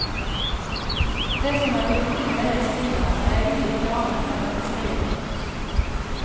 Det som er viktig med det jeg skriver er egentlig ikke annet enn at jeg skriver på norsk.